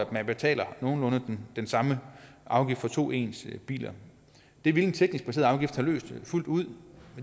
man betaler nogenlunde den samme afgift for to ens biler det ville en teknisk baseret afgift have løst fuldt ud